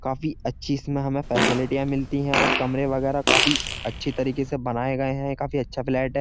काफी अच्छी इसमें हमें फैसिलिटीया मिलती हैं और कमरे वगैरह काफी अच्छी तरीके से बनाए गए हैं काफी अच्छा फ्लैट है।